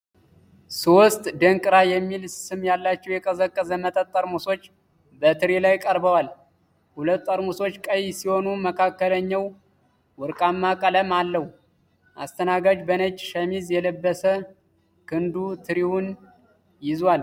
ሦስት "ደንቅራ" የሚል ስም ያላቸው የቀዘቀዘ መጠጥ ጠርሙሶች በትሪ ላይ ቀርበዋል። ሁለት ጠርሙሶች ቀይ ሲሆኑ፣ መካከለኛው ወርቃማ ቀለም አለው። አስተናጋጅ በነጭ ሸሚዝ የለበሰ ክንዱ ትሪውን ይዟል።